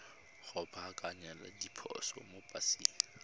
go baakanya diphoso mo paseng